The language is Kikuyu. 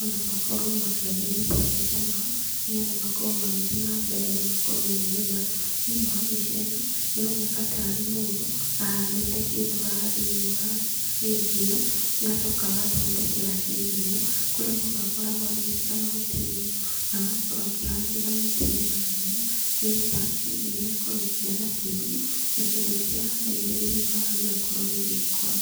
ona makorwo makĩagĩrithia maica mao, nĩgetha makorwo magĩthiĩ na mbere na makorwo me mega. Thĩinĩ wa mbica ĩno, ĩroneka tarĩ mũndũ, ahandĩte kĩndũ haha thĩinĩ wa shade ĩno agacoka agathondekera shade ĩno, kũrĩa mũndũ akoragwo agĩĩkĩra mahuti igũrũ, na agakorwo akĩhangĩra mĩtĩ mĩena na mĩena, nĩgetha shade ĩno ĩkorwo ĩkĩgĩa na kĩruru, na kĩndũ kĩrĩa ahandĩire thĩinĩ wayo gĩgakorwo gĩgĩkũra.